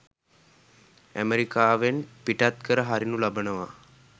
අමෙරිකාවෙන් පිටත් කර හරිනු ලබනවා.